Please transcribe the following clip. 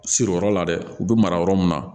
Siriyɔrɔ la dɛ u bi mara yɔrɔ min na